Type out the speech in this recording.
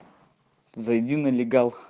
зайди налегал